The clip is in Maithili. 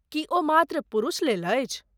की ओ मात्र पुरुषलेल अछि?